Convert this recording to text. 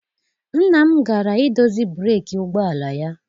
Nna m gara I dozi breeki ụgbọala ya.